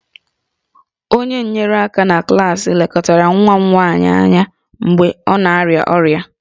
Onye nyere aka na klaasị lekọtara nwa m nwanyị mgbe ọ na-arịa ọrịa